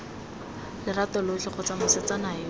lerato lotlhe kgotsa mosetsana yo